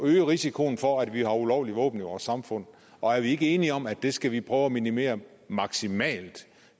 øge risikoen for at vi har ulovlige våben i vores samfund og er vi ikke enige om at det skal vi prøve at minimere maksimalt